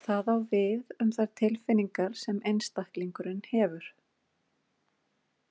Það á við um þær tilfinningar sem einstaklingurinn hefur.